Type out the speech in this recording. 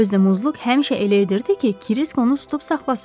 Özü də Muzluq həmişə elə edirdi ki, Krisk onu tutub saxlasın.